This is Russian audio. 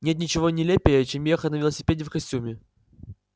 нет ничего нелепее чем ехать на велосипеде в костюме